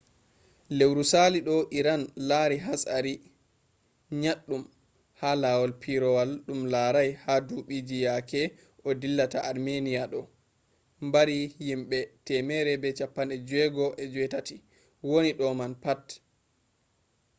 lewru salido iran lari hatsari nyaɗɗum ha lawol pireewol ɗum larai ha duɓiji yake o dillata armenia do'e mbari yimbe 168 woni do man pat